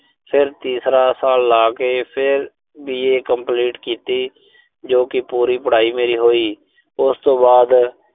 ਫਿਰ ਤੀਸਰਾ ਸਾਲ ਲਾ ਕੇ, ਫਿਰ B. A complete ਕੀਤੀ, ਜੋ ਕਿ ਪੂਰੀ ਪੜਾਈ ਹੋਈ। ਉਸ ਤੋਂ ਬਾਅਦ